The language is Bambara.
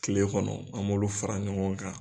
Tile kɔnɔ an b'olu fara ɲɔgɔn kan